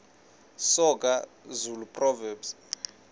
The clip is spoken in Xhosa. soga zulu proverbs